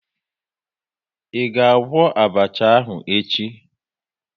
Ị ga-agwọ abacha ahụ echi?